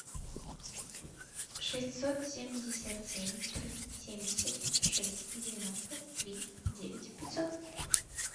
шестьсот семьдесят семь три семьдесят шесть девяносто три девять пятьсот